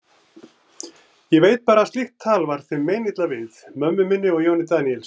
Ég veit bara að slíkt tal var þeim meinilla við, mömmu minni og Jóni Daníelssyni.